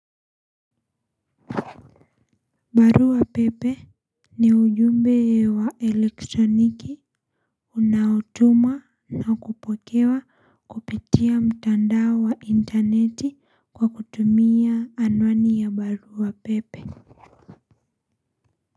Barua pepe ni ujumbe wa elektroniki unaotumwa na kupokewa kupitia mtandao wa intaneti kwa kutumia anwani ya barua pepe.